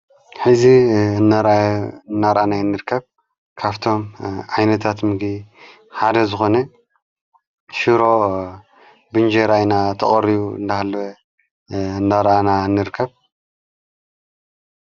ሕዚ ናራናራኣናይ እንርከብ ካብቶም ኣይነታትምጊ ሓደ ዝኾነ ሽሮ ብንጀራ ተቀሪቡ እንዳሃለ ናራኣና ንርከብ።